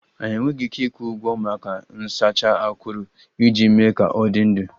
Anyị enweghị ike ịkwụ ụgwọ maka nsacha akuru iji mee ka ọ dị ndụ